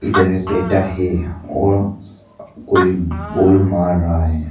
इधर एक बैठा है और कोई बॉल मार रहा है।